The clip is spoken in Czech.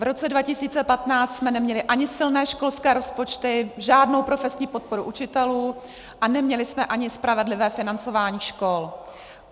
V roce 2015 jsme neměli ani silné školské rozpočty, žádnou profesní podporu učitelů a neměli jsme ani spravedlivé financování škol.